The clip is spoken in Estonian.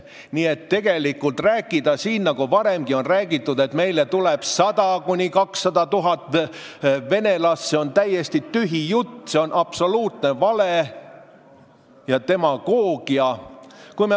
Nii et tegelikult see, mida varemgi on räägitud, et meile tuleb 100 000 – 200 000 venelast, on täiesti tühi jutt, see on absoluutne vale ja demagoogia.